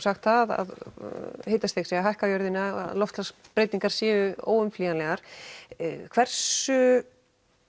sagt að hitastig sé að hækka á jörðinni og loftslagsbreytingar séu óumflýjanlegar hversu